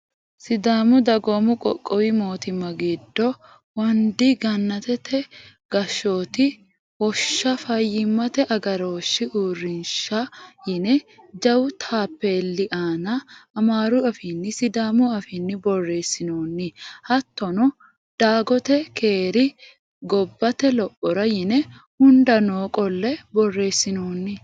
Sidaamu dagoomi qoqqowi mootimma giddo wondp gannatate gashshooti wosha fayyimate agarooshahi uurrinsha yine jawu taappeelli aana amaaru afiinninna sidaamu afiinni borreessinoonni. Hattono dagate Kerri gobbate lophora yine hundaa no qolle borreessinoonni.